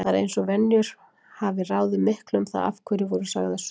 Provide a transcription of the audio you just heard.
Það er eins og venjur hafi ráðið miklu um það af hverju voru sagðar sögur.